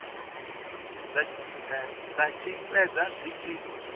dza tshi fhedza dzi tshi